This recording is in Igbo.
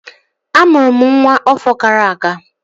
Amụrụ m nwa ọfọ gara aga